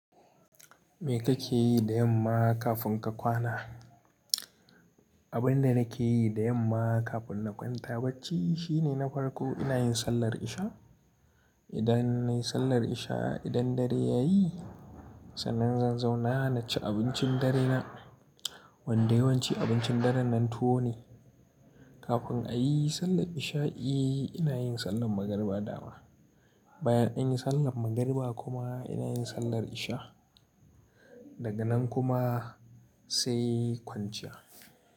Me kake yi da yamma kafin ka kwana? Abin da nake yi da yamma kafin na kwanta bacci shine na farko ina yin sallar isha. Idan nayi sallar isha, idan dare ya yi, sannan zan zauna na ci abincin dare na. Wanda yawanci abincin dare na tuwo ne. Kafin a yi sallar isha i ina yin sallar magariba dama. Bayan an yi sallar magariba kuma ina yin sallar isha. Daga nan kuma sai kwanciya.